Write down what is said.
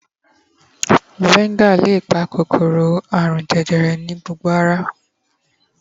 fxvinegar le pa kòkòrò arun jẹjẹrẹ nì àgó ara